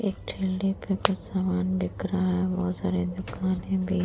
एक ठेले पे कुछ सामान बिक रहा है। बहोत सारे दुकान भी --